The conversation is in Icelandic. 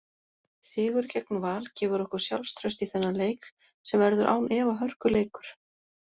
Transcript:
Sigur gegn Val gefur okkur sjálfstraust í þennan leik sem verður án efa hörkuleikur.